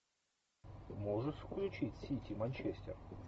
можешь включить сити манчестер